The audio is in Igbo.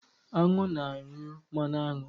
Aṅụ na-anyụ mmanụ aṅụ.